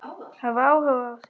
Hafa áhuga á því.